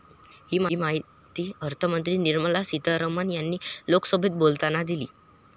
ही माहिती अर्थमंत्री निर्मला सितारमण यांनी लोकसभेत बोलताना दिली.